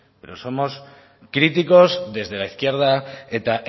pero somos críticos desde la izquierda eta